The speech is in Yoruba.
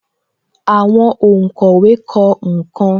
Àwọn onkowe kọ nkan